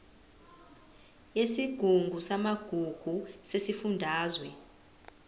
yesigungu samagugu sesifundazwe